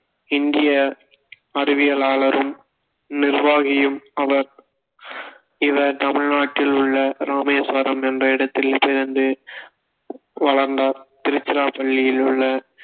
இந்நிய அறிவியலாளரும் நிர்வாகியும் அவர் இவர் தமிழ்நாட்டில் உள்ள இராமேஸ்வரம் என்ற இடத்தில் பிறந்து வளர்ந்தார் திருச்சிராப்பள்ளியில் உள்ள